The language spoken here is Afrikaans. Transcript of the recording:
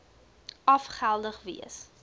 af geldig wees